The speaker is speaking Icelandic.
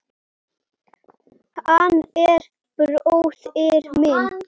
Hann er bróðir minn.